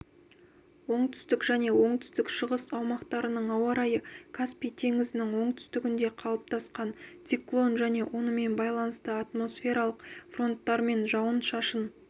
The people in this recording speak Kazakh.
оңтүстік және оңтүстік-шығыс аумақтарының ауа-райы каспий теңізінің оңтүстігінде қалыптасқан циклон және онымен байланысты атмосфералық фронттармен жауын-шашын